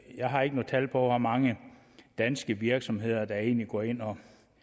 jeg har ikke nogen tal på hvor mange danske virksomheder der egentlig går ind og